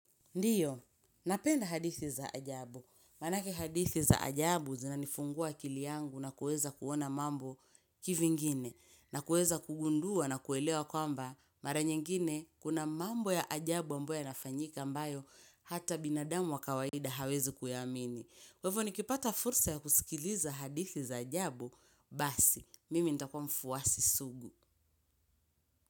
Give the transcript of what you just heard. Ndiyo, napenda hadithi za ajabu. Maanake hadithi za ajabu zinanifungua akili yangu na kuweza kuona mambo kivingine. Na kuweza kugundua na kuelewa kwamba mara nyingine kuna mambo ya ajabu ambayo yanafanyika ambayo hata binadamu wa kawaida hawezi kuyaamini. Kwa hivo nikipata fursa ya kusikiliza hadithi za ajabu basi. Mimi nitakua mfuasi sugu.